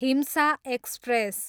हिम्सा express